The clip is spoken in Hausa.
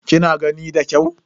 Kina gani da kyau?